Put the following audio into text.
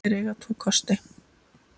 Þeir eiga tvo kosti.